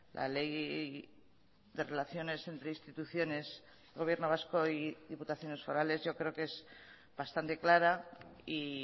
la ley de relaciones entre instituciones gobierno vasco y diputaciones forales yo creo que es bastante clara y